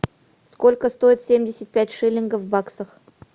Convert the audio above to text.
сколько стоит семьдесят пять шиллингов в баксах